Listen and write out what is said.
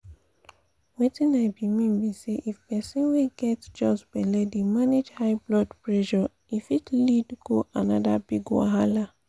weting i be mean be say if persin wey get just belle dey manage high blood pressure e fit lead go another big wahala